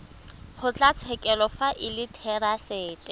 kgotlatshekelo fa e le therasete